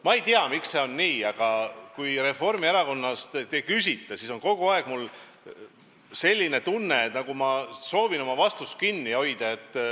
Ma ei tea, miks see on nii, aga kui keegi Reformierakonnast küsib, siis on mul kogu aeg selline tunne, et ma nagu soovin oma vastutusest kinni hoida.